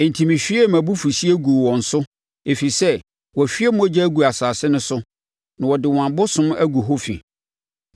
Enti mehwiee mʼabufuhyeɛ guu wɔn so ɛfiri sɛ wahwie mogya agu asase no so na wɔde wɔn abosom agu hɔ fi.